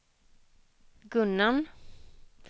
Gunnarn